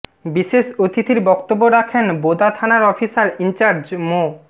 বিশেষ অতিথির বক্তব্য রাখেন বোদা থানার অফিসার ইনচার্জ মো